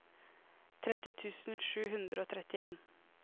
tretti tusen sju hundre og trettien